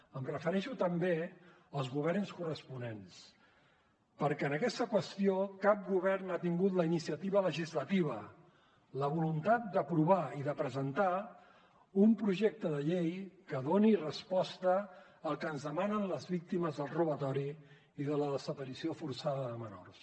em refereixo també als governs corresponents perquè en aquesta qüestió cap govern ha tingut la iniciativa legislativa la voluntat d’aprovar i presentar un projecte de llei que doni resposta al que ens demanen les víctimes del robatori i de la desaparició forçada de menors